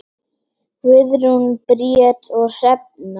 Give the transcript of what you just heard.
Guðrún Bríet og Hrefna.